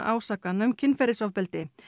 ásakana um kynferðisofbeldi